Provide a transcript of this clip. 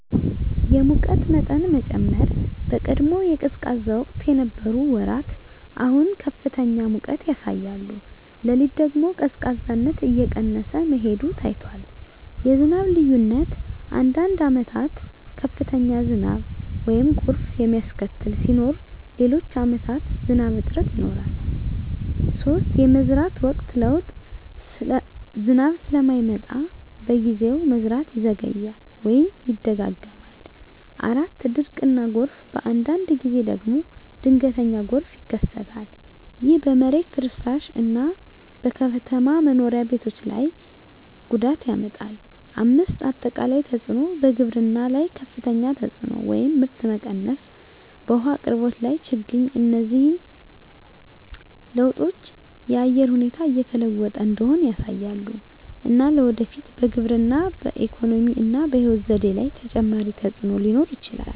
የሙቀት መጠን መጨመር በቀድሞ የቀዝቃዛ ወቅት የነበሩ ወራት አሁን ከፍተኛ ሙቀት ያሳያሉ። ሌሊት ደግሞ ቀዝቃዛነት እየቀነሰ መሄዱ ታይቷል። 2. የዝናብ ልዩነት አንዳንድ ዓመታት ከፍተኛ ዝናብ (ጎርፍ የሚያስከትል) ሲኖር፣ ሌሎች ዓመታት ዝናብ እጥረት ይኖራል። 3. የመዝራት ወቅት ለውጥ ዝናብ ስለማይመጣ በጊዜው፣ መዝራት ይዘገያል ወይም ይደጋገማል። 4. ድርቅ እና ጎርፍ በአንዳንድ ጊዜ ደግሞ ድንገተኛ ጎርፍ ይከሰታል። ይህ በመሬት ፍርስራሽ እና በከተማ መኖሪያ ቤቶች ላይ ጉዳት ያመጣል። 5. አጠቃላይ ተፅዕኖ በግብርና ላይ ከፍተኛ ተፅዕኖ (ምርት መቀነስ) በውሃ አቅርቦት ላይ ችግኝ እነዚህ ለውጦች የአየር ሁኔታ እየተለወጠ እንደሆነ ያሳያሉ፣ እና ለወደፊት በግብርና፣ በኢኮኖሚ እና በሕይወት ዘዴ ላይ ተጨማሪ ተፅዕኖ ሊኖር ይችላል።